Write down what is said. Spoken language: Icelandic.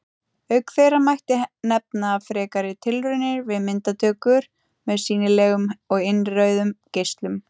Auk þeirra mætti nefna frekari tilraunir við myndatöku með sýnilegum og innrauðum geislum.